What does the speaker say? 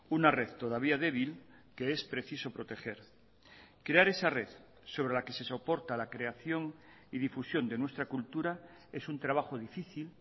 una red todavía débil que es preciso proteger crear esa red sobre la que se soporta la creación y difusión de nuestra cultura es un trabajo difícil